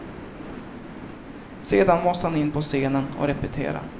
Sedan måste han in på scenen och repetera.